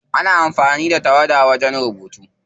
Ana amfani da tawada wajen rubutu.